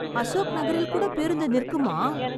அசோக் நகரில் கூட பேருந்து நிற்குமா!